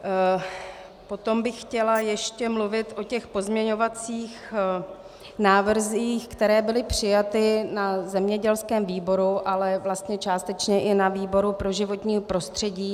Potom bych chtěla ještě mluvit o těch pozměňovacích návrzích, které byly přijaty na zemědělském výboru, ale vlastně částečně i na výboru pro životní prostředí.